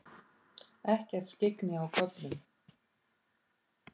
Ekkert skyggni á köflum